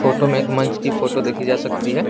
Photo में एक मंच की फोटो देखी जा सकती है।